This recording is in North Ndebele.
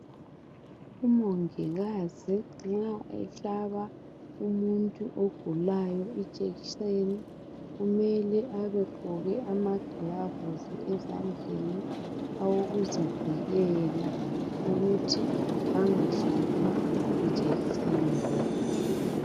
Umongikazi nxa ehlaba umuntu ogulayo ijekiseni kumele abegqoke amagilavisi ezandleni awokuzivikela ukuthi angahlatshwa yijekiseni leyi.